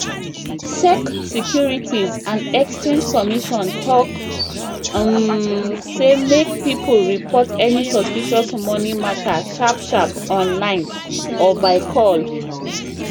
sec securities and exchange commission talk um say make people report any suspicious money matter sharp sharp online or by call